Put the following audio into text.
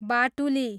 बाटुली